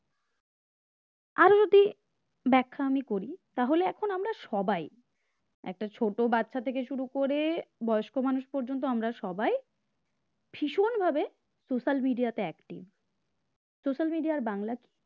ব্যাখ্যা আমি করি তাহলে এখন আমরা সবাই একটা ছোট বাচ্চা থেকে শুরু করে বয়স্ক মানুষ পর্যন্ত আমরা সবাই ভীষণভাবে social media তে active social media এর বাংলা